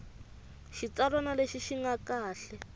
xitsalwana lexi xi nga kahle